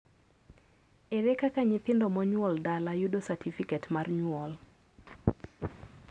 ere kaka nyithindo monyuol dala yudo satifiket mar nyuol